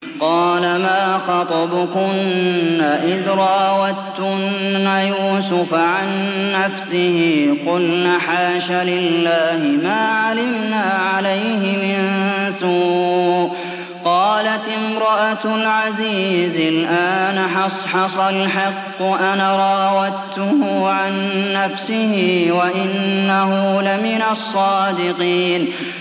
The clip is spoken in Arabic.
قَالَ مَا خَطْبُكُنَّ إِذْ رَاوَدتُّنَّ يُوسُفَ عَن نَّفْسِهِ ۚ قُلْنَ حَاشَ لِلَّهِ مَا عَلِمْنَا عَلَيْهِ مِن سُوءٍ ۚ قَالَتِ امْرَأَتُ الْعَزِيزِ الْآنَ حَصْحَصَ الْحَقُّ أَنَا رَاوَدتُّهُ عَن نَّفْسِهِ وَإِنَّهُ لَمِنَ الصَّادِقِينَ